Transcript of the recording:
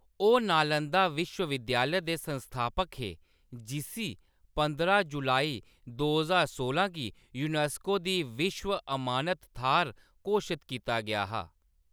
ओह्‌‌ नालंदा विश्व-विद्यालय दे संस्थापक हे, जिसी पंदरां जुलाई दो ज्हार सोलां गी यूनेस्को दी विश्व अमानत थाह्‌‌‌र घोशत कीता गेआ हा।